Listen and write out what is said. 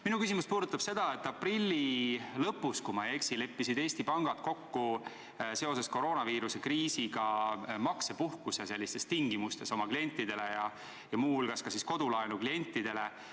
Minu küsimus puudutab seda, et aprilli lõpus, kui ma ei eksi, leppisid Eesti pangad seoses koroonaviiruse kriisiga kokku maksepuhkuse tingimustes oma klientidele ja muu hulgas ka kodulaenu klientidele.